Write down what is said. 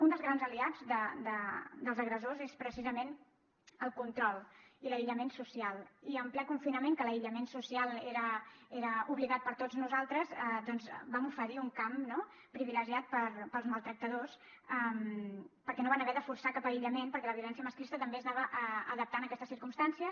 un dels grans aliats dels agressors és precisament el control i l’aïllament social i en ple confinament que l’aïllament social era obligat per a tots nosaltres doncs vam oferir un camp no privilegiat per als maltractadors perquè no van haver de forçar cap aïllament perquè la violència masclista també s’anava adaptant a aquestes circumstàncies